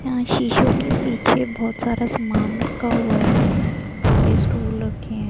यहां शीशों के पीछे बोहोत सामान रखा हुआ है। आगे स्टूल रखे है।